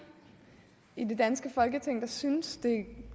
i det danske folketing der synes det er